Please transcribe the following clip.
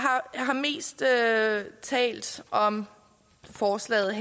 har mest talt om forslaget